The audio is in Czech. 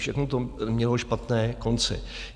Všechno to mělo špatné konce.